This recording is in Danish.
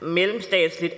mellemstatsligt